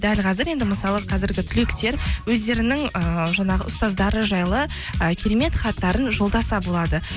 дәл қазір енді мысалы қазіргі түлектер өздерінің ыыы жаңағы ұстаздары жайлы ы керемет хаттарын жолдаса болады